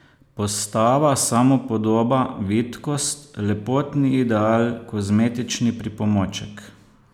Postava, samopodoba, vitkost, lepotni ideal, kozmetični pripomoček ...